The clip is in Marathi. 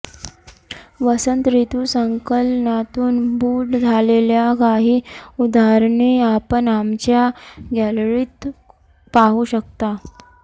वसंत ऋतु संकलनातून बूट झालेल्या काही उदाहरणे आपण आमच्या गॅलरीत पाहू शकता